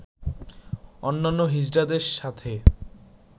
অন্যান্য হিজড়াদের সাথে